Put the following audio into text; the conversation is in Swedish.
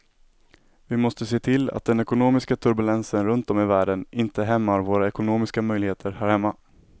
Vi måste se till att den ekonomiska turbulensen runt om i världen inte hämmar våra ekonomiska möjligheter här hemma.